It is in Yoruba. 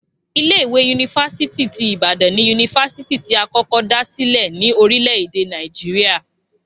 Ilé ìwé yunifásítì ti Ibadan ni yunifásítì tí a kọ́kọ́ dá silẹ ní orílẹ̀ èdè Nàìjíríà